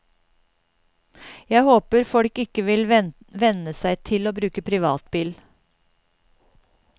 Jeg håper folk ikke vil venne seg til å bruke privatbil.